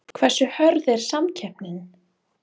Hversu hörð er samkeppnin?